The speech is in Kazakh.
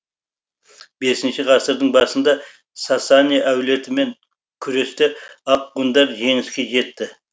бесінші ғасырдың басында сасани әулетімен күресте ақ ғұндар жеңіске жетті